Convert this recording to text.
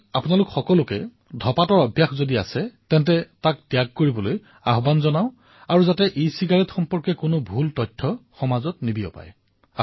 মই আপোনালোক সকলোকে আহ্বান জনাইছো যে ধঁপাতৰ সেৱন পৰিত্যাগ কৰক আৰু ইচিগাৰেটৰ বিষয়ত যাতে কোনো ভ্ৰান্তি নিবিয়পায়